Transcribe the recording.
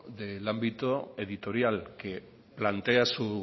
del ámbito editorial que plantea su